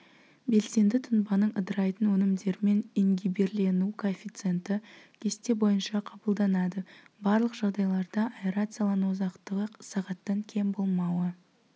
белсенді тұнбаның ыдырайтын өнімдерімен ингибирлену коэффициенті кесте бойынша қабылданады барлық жағдайларда аэрациялану ұзақтығы сағаттан кем болмауы